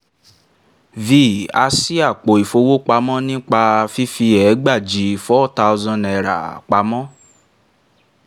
a sì àpò ìfowópamọ́ nípa fífi ẹgbàajì four thousand naira pamọ́